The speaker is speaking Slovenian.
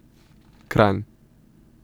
Kranj.